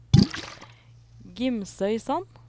Gimsøysand